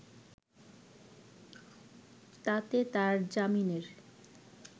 তাতে তার জামিনের